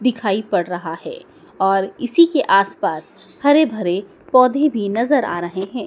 दिखाई पड़ रहा है और इसी के आस पास हरे भरे पौधे भी नजर आ रहे हैं।